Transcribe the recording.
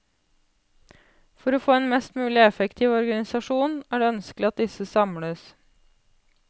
For å få en mest mulig effektiv organisasjon er det ønskelig at disse samles.